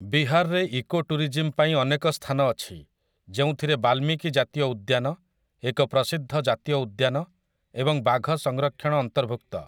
ବିହାରରେ ଇକୋଟୁରିଜିମ୍‌ ପାଇଁ ଅନେକ ସ୍ଥାନ ଅଛି, ଯେଉଁଥିରେ ବାଲ୍ମିକି ଜାତୀୟ ଉଦ୍ୟାନ, ଏକ ପ୍ରସିଦ୍ଧ ଜାତୀୟ ଉଦ୍ୟାନ ଏବଂ ବାଘ ସଂରକ୍ଷଣ ଅନ୍ତର୍ଭୁକ୍ତ ।